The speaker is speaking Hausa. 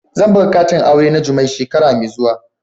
Zan buga katin aure na jummais shekara mai zuwa.